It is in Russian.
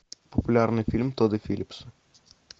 популярный фильм тодда филлипса